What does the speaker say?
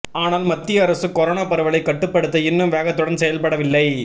ஆனால் மத்திய அரசு கொரோனா பரவலை கட்டுப்படுத்த இன்னும் வேகத்துடன் செயல்படவில்லை